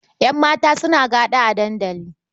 Ƴan mata suna gaɗa a dandali.